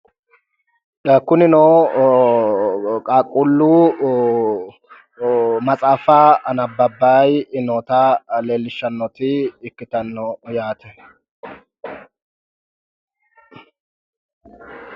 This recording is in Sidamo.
Kunnino qaaquullu maxaaffa annabbabayi nootta leelishanoti ikkitano yaate.